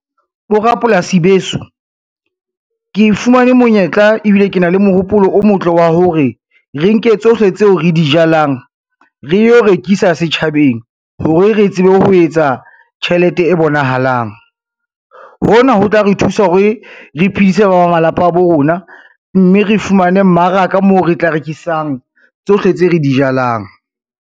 Borapolasi beso, ke fumane monyetla ebile ke na le mohopolo o motle wa hore re nke tsohle tseo re di jalang, re yo rekisa setjhabeng hore re tsebe ho etsa tjhelete e bonahalang. Hona ho tla re thusa hore re phedise ba malapa a bo rona, mme re fumane mmaraka moo re tla rekisang tsohle tse re di jalang.